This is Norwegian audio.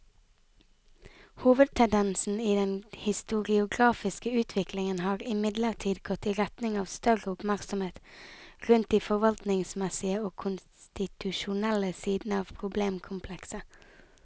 Hovedtendensen i den historiografiske utviklingen har imidlertid gått i retning av større oppmerksomhet rundt de forvaltningsmessige og konstitusjonelle sidene av problemkomplekset.